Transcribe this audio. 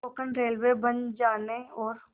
Konkan railway बन जाने और